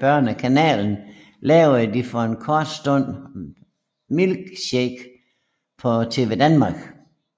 Børnekanalen lavede de for en kort stund Milkshake på TvDanmark